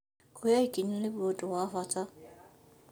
Kuoya ikinya nĩguo ũndũ wa bata